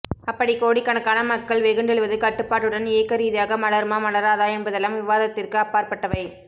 அப்படி கோடிக்கணக்கான மக்கள் வெகுண்டெழுவது கட்டுப்பாட்டுடன் இயக்கரீதியாக மலருமா மலராதா என்பதெல்லாம் விவாதத்திற்கு அப்பாற்பட்டவை